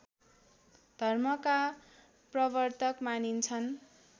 धर्मका प्रवर्तक मानिन्छन्